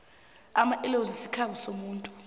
amaellozi sikhabo somuntu